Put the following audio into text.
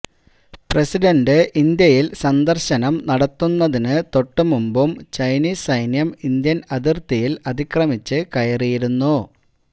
president ഇന്ത്യല് സന്ദര്ശനം നടത്തുന്നതിന് തൊട്ടു മുമ്പും ചൈനീസ് സൈന്യം ഇന്ത്യന് അതിര്ത്തിയില് അതിക്രമിച്ച് കയറിയിരുന്നു